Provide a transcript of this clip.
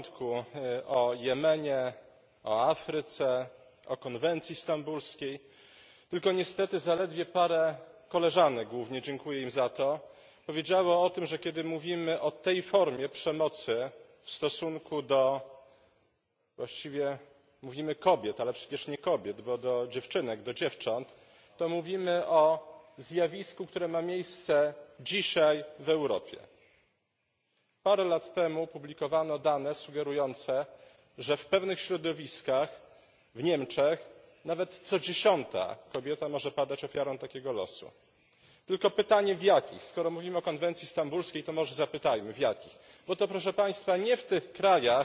Panie Przewodniczący! W tej ciekawej dyskusji słyszeliśmy już szczególnie na początku o Jemenie, o Afryce, o konwencji stambulskiej. Tylko niestety zaledwie parę koleżanek głównie, dziękuję im za to, powiedziało tym, że kiedy mówimy o tej formie przemocy w stosunku do, właściwie mówimy kobiet, ale przecież nie kobiet, bo do dziewczynek, do dziewcząt, to mówimy o zjawisku, które ma miejsce dzisiaj w Europie. Parę lat temu opublikowano dane sugerujące, że w pewnych środowiskach w Niemczech nawet co dziesiąta kobieta może padać ofiarą takiego losu. Tylko pytanie, w których? Skoro mówimy o konwencji stambulskiej, to może zapytajmy, w których, bo to, proszę Państwa, nie w tych krajach,